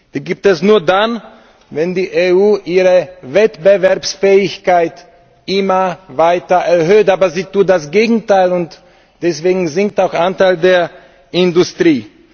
Die gibt es nur dann, wenn die EU ihre Wettbewerbsfähigkeit immer weiter erhöht. Aber sie tut das Gegenteil, und deswegen sinkt auch der Anteil der Industrie.